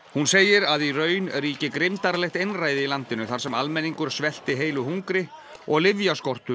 hún segir að í raun ríki einræði í landinu þar sem almenningur svelti heilu hungri og